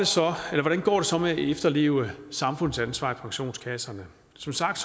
hvordan går det så med at efterleve samfundsansvar i pensionskasserne som sagt